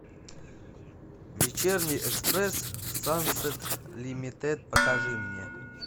вечерний экспресс сансет лимитед покажи мне